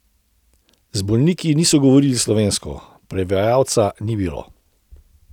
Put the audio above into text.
Z bolniki niso govorili slovensko, prevajalca ni bilo.